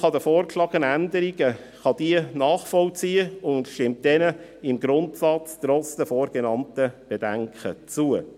Die FiKo kann die vorgeschlagenen Änderungen nachvollziehen und stimmt diesen im Grundsatz trotz der vorgenannten Bedenken zu.